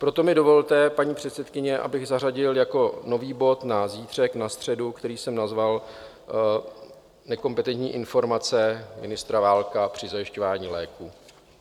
Proto mi dovolte, paní předsedkyně, abych zařadil jako nový bod na zítřek na středu, který jsem nazval Nekompetentní informace ministra Válka při zajišťování léků.